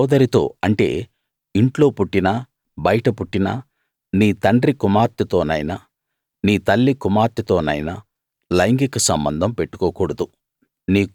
నీ సోదరితో అంటే ఇంట్లో పుట్టినా బయట పుట్టినా నీ తండ్రి కుమార్తెతోనైనా నీ తల్లి కుమార్తెతోనైనా లైంగిక సంబంధం పెట్టుకోకూడదు